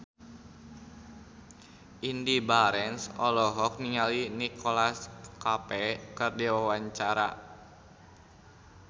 Indy Barens olohok ningali Nicholas Cafe keur diwawancara